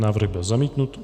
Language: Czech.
Návrh byl zamítnut.